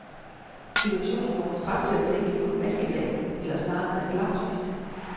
Situationen får mig straks til at tænke på et maskebal eller snarere en fastelavnsfest.